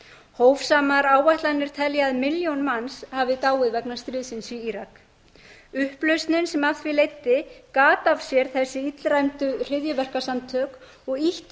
hófsamar áætlanir telja að milljón manns hafi dáið vegna stríðsins í írak upplausnin sem af því leiddi gat af sér þessi illræmdu hryðjuverkasamtök og ýttu